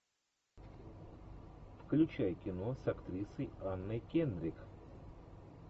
включай кино с актрисой анной кендрик